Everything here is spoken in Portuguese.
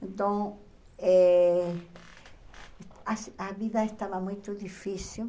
Então, eh a a vida estava muito difícil.